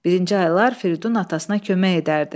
Birinci aylar Firidun atasına kömək edərdi.